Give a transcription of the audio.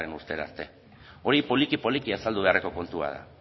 ehungarrena urtera arte hori poliki poliki azaldu beharreko kontua da